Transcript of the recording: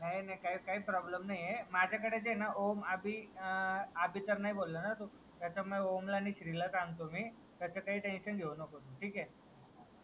नाय ना काय प्रॉब्लम नाहीये माझा कडे जे हाय ना ओम अभि अभि तर नाय ना बोलला तू ओम ला नई श्री ला सांगतो मी त्याच टेन्शन घेऊ नको ठीके